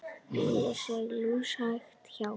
Bílar sigla lúshægt hjá.